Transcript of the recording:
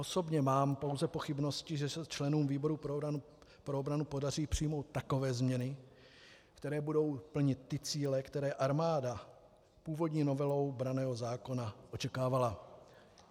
Osobně mám pouze pochybnosti, že se členům výboru pro obranu podaří přijmout takové změny, které budou plnit ty cíle, které armáda původní novelou branného zákona očekávala.